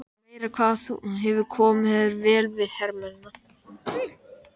Meira hvað þú hefur komið þér vel við hermennina!